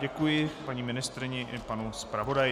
Děkuji paní ministryni i panu zpravodaji.